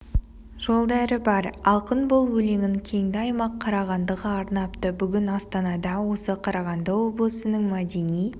жолдары бар ақын бұл өлеңін кенді аймақ қарағандыға арнапты бүгін астанада осы қарағанды облысының мәдени